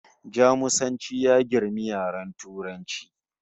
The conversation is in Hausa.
Jamusanci ya girmi yaren Turanci